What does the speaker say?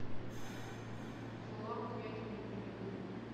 фоллаут ядерный перекур